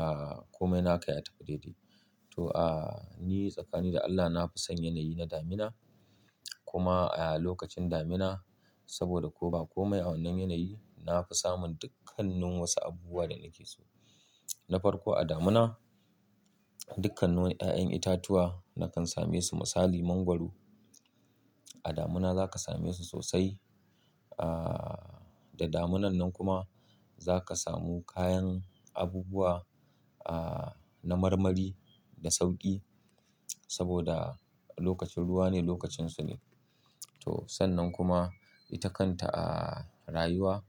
ahhh, komai naka ya tafi daidai. To, ahhh, ni tsakani da Allah na fi son yanayi na damina kuma, ahhh, lokacin damina saboda ko ba komai a wannan yanayi na fi samun dukkannin wasu abubuwa da nake so. Na farko a damina dukkanin wani ƴaƴan itatuwa nakan same su misali mangwaro. A damina za ka same su sosai. Ahhh, da daminan nan kuma za ka samu kayan abubuwa, ahhh, na marmari da sauƙi saboda lokacin ruwa ne lokacinsu ne. To sannan kuma ita kanta, ahhh, rayuwa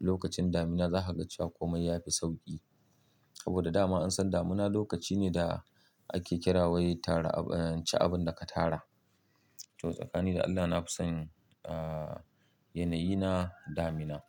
lokacin damina za ka ga cewa komai ya fi sauƙi. Saboda dama an san damina lokaci ne da ake kira wai tara abin, ci abun da ka tara. To tsakani da Allah na fi son, ahhh, yanayi na damina.